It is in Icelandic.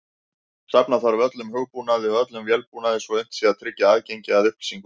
Safna þarf öllum hugbúnaði og öllum vélbúnaði svo unnt sé að tryggja aðgengi að upplýsingunum.